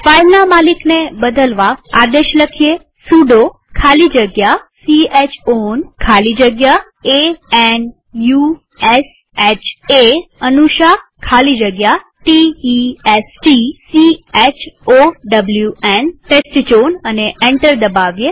ફાઈલના માલિકને બદલવા આદેશ લખીએ સુડો ખાલી જગ્યા c હ ઓન ખાલી જગ્યા a n u s h એ ખાલી જગ્યા t e s t c h o w ન અને એન્ટર દબાવીએ